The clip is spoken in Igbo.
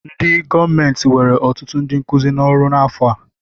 Ndị gọọmentị were ọtụtụ ndị nkuzi n'ọrụ n'afọ a.